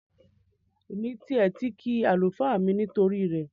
Èmi tiẹ̀ ti kí àlùfáà mi nítorí rẹ